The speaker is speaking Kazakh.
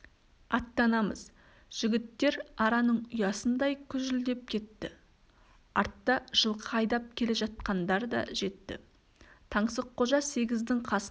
аттанамыз жігіттер араның ұясындай күжілдеп кетті артта жылқы айдап келе жатқандар да жетті таңсыққожа сегіздің қасына